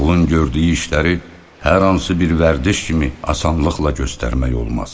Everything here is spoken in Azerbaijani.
Ağlın gördüyü işləri hər hansı bir vərdiş kimi asanlıqla göstərmək olmaz.